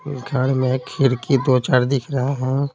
घर में खिड़की दो चार दिख रहा है।